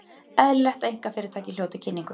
Eðlilegt að einkafyrirtæki hljóti kynningu